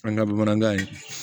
An ka bamanankan ye